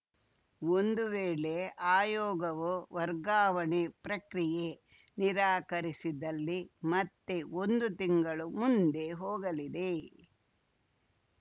ಒಂದು ವೇಳೆ ಆಯೋಗವು ವರ್ಗಾವಣೆ ಪ್ರಕ್ರಿಯೆ ನಿರಾಕರಿಸಿದಲ್ಲಿ ಮತ್ತೆ ಒಂದು ತಿಂಗಳು ಮುಂದೆ ಹೋಗಲಿದೆ